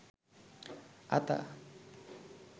আতা